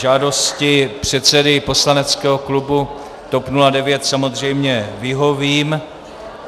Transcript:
Žádosti předsedy poslaneckého klubu TOP 09 samozřejmě vyhovím.